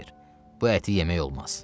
Xeyr, bu əti yemək olmaz.